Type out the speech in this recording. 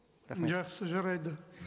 жақсы жарайды